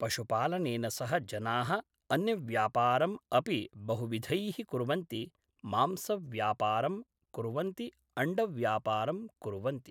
पशुपालनेन सह जनाः अन्यव्यापारम् अपि बहुविधैः कुर्वन्ति मांसव्यापरं कुर्वन्ति अण्डव्यापारं कुर्वन्ति